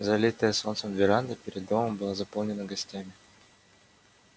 залитая солнцем веранда перед домом была заполнена гостями